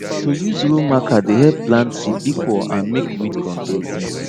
to use row marker dey help plant seed equal and make weed control easy